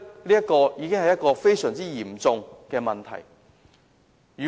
因此，這已經是非常嚴重的問題。